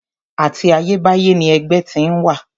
Àti ayébáyé ni ẹgbẹ́ ti ń wà.